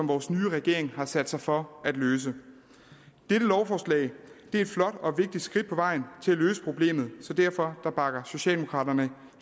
vores nye regering har sat sig for at løse dette lovforslag er et flot og vigtigt skridt på vejen til at løse problemet så derfor bakker socialdemokraterne